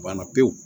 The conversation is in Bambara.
Banna pewu